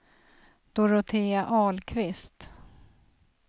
Dorotea Ahlqvist